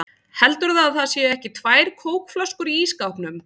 HELDURÐU AÐ ÞAÐ SÉU EKKI TVÆR KÓKFLÖSKUR Í ÍSSKÁPNUM!